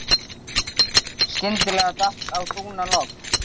Skyndilega datt á dúnalogn.